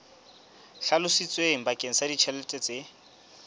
hlalositsweng bakeng sa ditjhelete tse